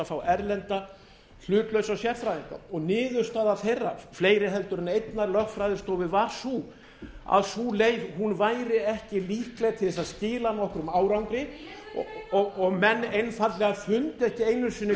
fá erlenda hlutlausa sérfræðinga og niðurstaða þeirra fleiri heldur en einnar lögfræðistofu var sú að sú leið væri ekki líkleg til þess að skila nokkrum árangri og menn einfaldlega fundu ekki einu sinni